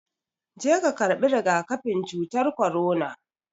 Je ka karɓi rigakafin cutar korona